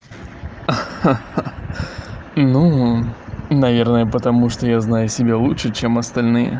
ха-ха ну наверное потому что я знаю себя лучше чем остальные